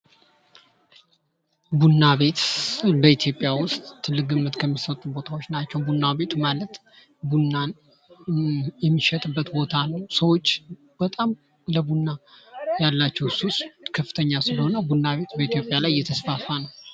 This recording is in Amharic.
ቡና ቤት በኢትዮጵያ ውስጥ ትልቅ ግምት ከሚሰጡ ቦታዎች ናቸው። ቡና ቤት ማለት ቡናን የሚሸጥበት ቦታ ነው። ሰዎች በጣም ለቡና ያላቸው ሱስ ከፍተኛ ስለሆነ ቡና በኢትዮጵያ ላይ እየተስፋፋ ነው።